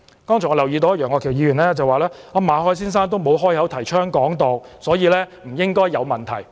剛才楊岳橋議員說，馬凱先生沒有開口提倡"港獨"，所以不應該有問題。